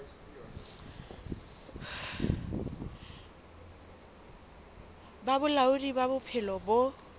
ba bolaodi ba bophelo bo